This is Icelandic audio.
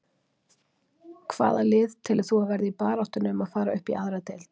Hvaða lið telur þú að verði í baráttunni um að fara upp í aðra deild?